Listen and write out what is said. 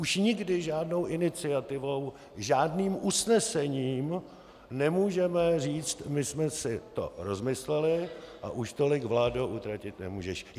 Už nikdy žádnou iniciativou, žádným usnesením nemůžeme říct: "My jsme si to rozmysleli a už tolik, vládo, utratit nemůžeš".